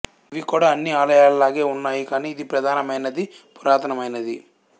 ఇవి కూడా అన్ని ఆలయాల లాగే ఉన్నాయి కాని ఇది ప్రధానమైనది పురాతన మైనది